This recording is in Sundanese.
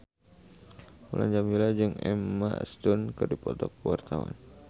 Mulan Jameela jeung Emma Stone keur dipoto ku wartawan